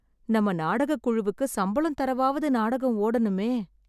நம்ம நாடகக் குழுவுக்கு சம்பளம் தரவாவது நாடகம் ஓடணுமே.